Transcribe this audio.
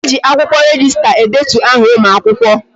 E ji akwụkwọ rejista edetu aha ụmụakwụkwọ